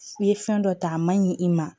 I ye fɛn dɔ ta a ma ɲi i ma